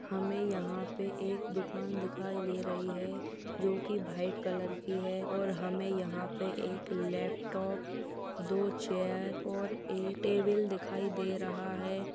हमें यहां पे एक दुकान दिखाई दे रही है जो की भाइट कलर की है और हमें यहां पे एक लैपटॉप दो चेयर और एक टेबल दिखाई दे रहा है।